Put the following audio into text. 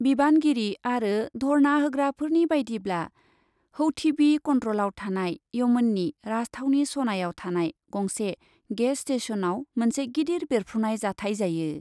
बिबानगिरि आरो धर्ना होग्राफोरनि बायदिब्ला , हौथीबि कन्ट्रलाव थानाय यमननि राजथावनि सनायाव थानाय गंसे गेस स्टेशनआव मोनसे गिदिर बेरफ्रुनाय जाथाय जायो ।